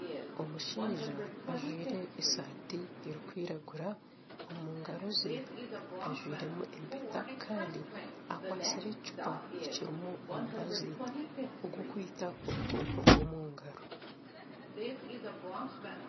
Omushaija ajwaire esaati erikwiragura omu ngaaro ze ajwairemu empeta kandi akwatsire ekicupa ekirimu omubazi ogw'okwita obukooko bw'omu ngaro